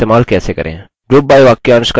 group by वाक्यांश का इस्तेमाल कैसे करें